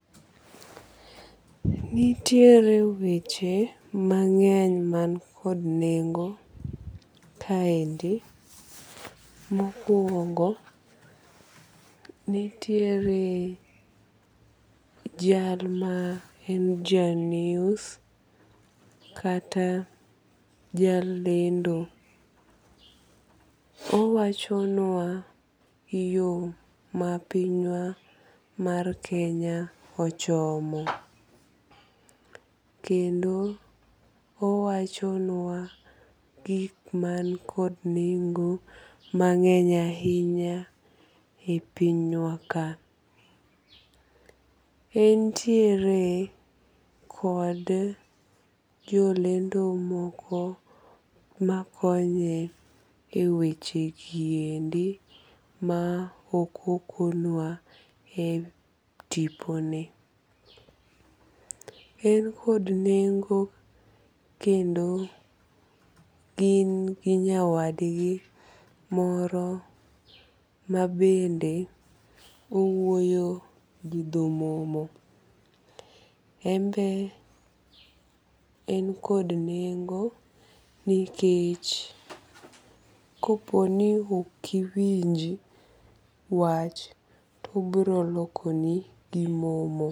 Nitiere weche mang'eny man kod nengo kaendi. Mokuongo nitiere jal ma en ja news kata jalendo. Owacho nwa yo ma piny wa mar Kenya ochomo. Kendo owacho nwa gik man kod nengo mang'eny ahinya e piny wa ka. Entiere kod jolendo moko makonye e weche giendi ma ok okonwa e tipo ni. En kod nengo kendo gin gi nyawadgi moro mabende owuoyo gi dho momo. Enbe en kod nengo nikech kopo ni ok iwinji wach to obiro loko ni gi momo.